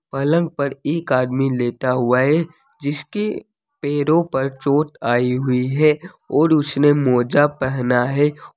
पलंग पर एक आदमी लेटा हुआ है जिसके पैरों पर चोट आई हुई है और उसने मौजा पहना है।